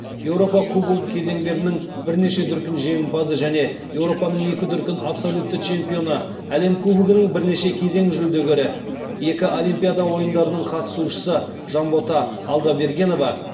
еуропа кубогі кезеңдерінің бірнеше дүркін жеңімпазы және еуропаның екі дүркін абсолютті чемпионы әлем кубогінің бірнеше кезең жүлдегері екі олимпиада ойындарының қатысушысы жанбота алдабергенова